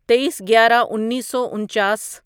تئیس گیارہ انیسو انچاس